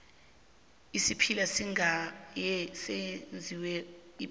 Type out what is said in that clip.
isiphila siyagaywa senziwe ipuphu